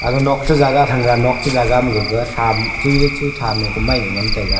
agag nok che jaga thanga nok che jaga ma gag thaam chihi chi chihi thaam ye komai ngaih ngantaiga.